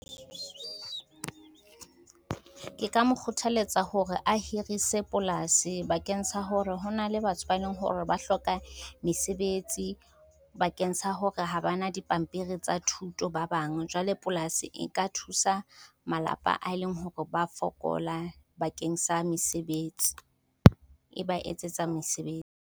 Ke ka mo kgothaletsa hore a hirise polasi bakeng sa hore ho na le batho ba eleng hore ba hloka mesebetsi. Bakeng sa hore ha bana dipampiri tsa thuto ba bang, jwale polasi e ka thusa malapa a leng hore ba fokola bakeng sa mesebetsi, e ba etsetsa mesebetsi.